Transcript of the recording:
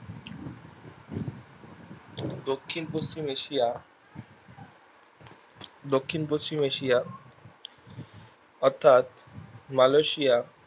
দক্ষিণ পশ্চিম এশিয়া দক্ষিণ পশ্চিম এশিয়া অর্থাৎ মালয়েশিয়া